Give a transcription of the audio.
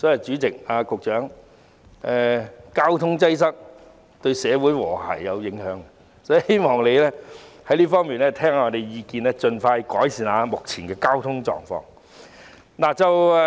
主席，交通擠塞對社會和諧有影響，所以我希望局長在這方面聆聽議員的意見，盡快改善目前的交通狀況。